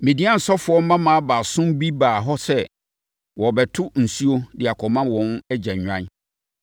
Midian ɔsɔfoɔ mmammaa baason bi baa hɔ sɛ wɔrebɛto nsuo de akɔma wɔn agya nnwan.